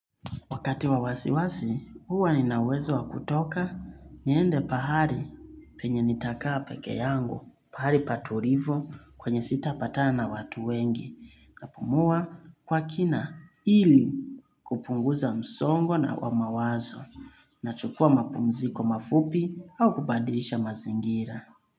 Wakati wa wasiwasi, huwa nina uwezo wa kutoka niende pahali penye nitakaa peke yangu, pahali patulivu kwenye sita patana na watu wengi. Napumua kwa kima ili kupunguza msongo na mawazo nachukua mapumziko mafupi au kubadilisha mazingira.